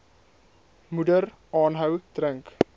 moeder aanhou drink